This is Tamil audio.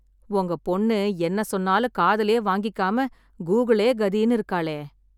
ஒங்க பொண்ணு, என்ன சொன்னாலும் காதுலயே வாங்கிக்காம, கூகுளே கதின்னு இருக்காளே..